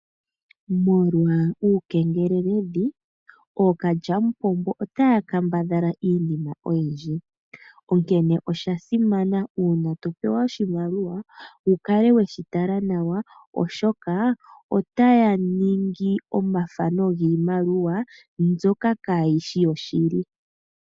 Molwa uukengeleledhi ookalyamupombo otaya kambadhala iinima oyindji. Onkene osha simana uuna to pewa oshimaliwa wu kale weshi tala nawa oshoka otaya ningi omathano giimaliwa mbyoka kaayishi yoshili.